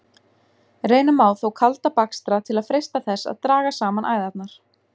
Reyna má þó kalda bakstra til að freista þess að draga saman æðarnar.